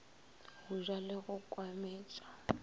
go ja le go kwametša